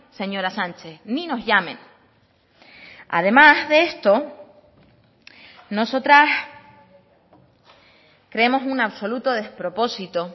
señora sánchez ni nos llamen además de esto nosotras creemos un absoluto despropósito